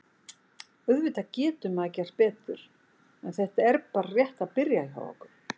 Auðvitað getur maður gert betur en þetta er bara rétt að byrja hjá okkur.